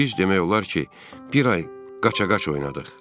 Biz demək olar ki, bir ay qaça-qaç oynadıq.